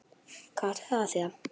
Hvað átti það að þýða?